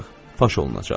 Faş olunacaq.